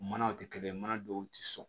Manaw tɛ kelen ye mana dɔw tɛ sɔn